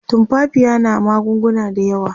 tumfafiya na magunguna da yawa